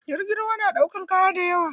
Jirgin ruwa na ɗaukar kaya da yawa.